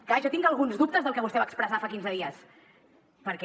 clar jo tinc alguns dubtes del que vostè va expressar fa quinze dies perquè